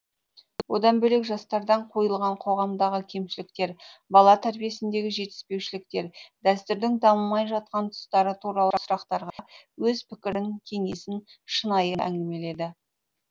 одан бөлек жастардан қойылған қоғамдағы кемшіліктер бала тәрбиесіндегі жетіспеушіліктер дәстүрдің дамымай жатқан тұстары туралы сұрақтарға өз пікірін кеңесін шынайы әңгімеледі